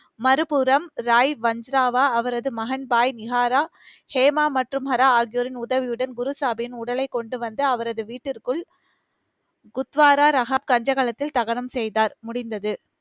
மறுபுறம், ராய் வஞ்சராவா, அவரது மகன் பாய் நிகாரா, ஹேமா மற்றும் ஹரா ஆகியோரின் உதவியுடன், குருசாகிபின் உடலை கொண்டு வந்து அவரது வீட்டிற்குள் குத்வாரா, ரகாப் கஞ்சகலத்தில் தகனம் செய்தார், முடிந்தது.